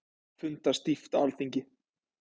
Fundað stíft á Alþingi